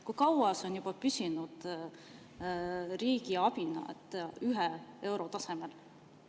Kui kaua see on juba püsinud riigi abina 1 euro tasemel?